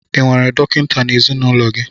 Ị nwere dọkịta n'ezinụlọ gị?